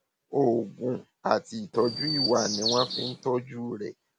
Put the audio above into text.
oògùn àti ìtọjú ìwà ni wọn fi ń tọjú rẹ